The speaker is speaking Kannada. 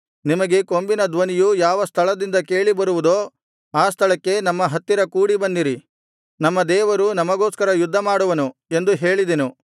ನಿಮಗೆ ಕೊಂಬಿನ ಧ್ವನಿಯು ಯಾವ ಸ್ಥಳದಿಂದ ಕೇಳಿಬರುವುದೋ ಆ ಸ್ಥಳಕ್ಕೆ ನಮ್ಮ ಹತ್ತಿರ ಕೂಡಿಬನ್ನಿರಿ ನಮ್ಮ ದೇವರು ನಮಗೋಸ್ಕರ ಯುದ್ಧ ಮಾಡುವನು ಎಂದು ಹೇಳಿದೆನು